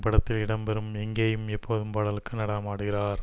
படத்தில் இடம்பெறும் எங்கேயும் எப்போதும் பாடலுக்கு நடனமாடுகிறார்